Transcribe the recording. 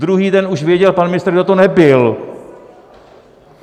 Druhý den už věděl pan ministr, kdo to nebyl.